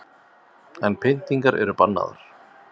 En pyntingar eru bannaðar